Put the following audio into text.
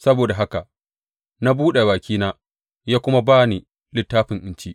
Saboda haka na buɗe bakina, ya kuma ba ni littafin in ci.